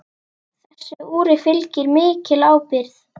Þessu úri fylgir mikil ábyrgð.